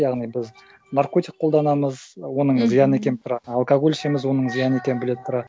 яғни біз наркотик қолданамыз оның зиян екені тұра алкоголь ішеміз оның зиян екенін біле тұра